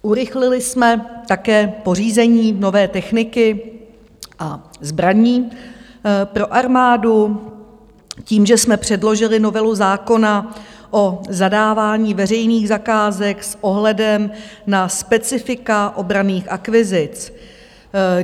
Urychlili jsme také pořízení nové techniky a zbraní pro armádu tím, že jsme předložili novelu zákona o zadávání veřejných zakázek s ohledem na specifika obranných akvizic.